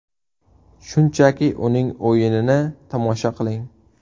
Shunchaki uning o‘yinini tomosha qiling”.